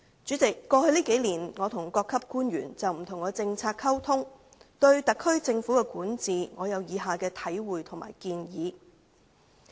主席，過去數年，我曾跟各級官員就不同政策溝通，對特區政府的管治，我有以下體會和建議。